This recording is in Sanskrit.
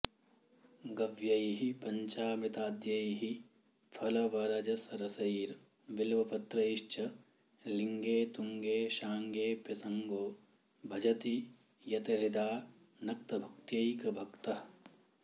गव्यैः पञ्चामृताद्यैः फलवरजरसैर्बिल्वपत्रैश्च लिङ्गे तुङ्गे शाङ्गेऽप्यसङ्गो भजति यतहृदा नक्तभुक्त्यैकभक्तः